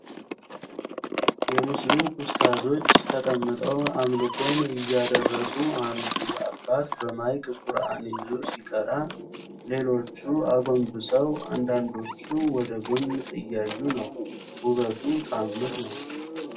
የሙስለም ኡስታዞች ተቀምጠው አምልኮን እያደረሱ አንዱ አባት በማይክ ቁርአን ይዞ ሲቀራ ሌሎቹ አጎንብሰው አንዳንዶቹ ወደ ጎን እያዩ ነው ፤ ውበቱ ታምር ነው።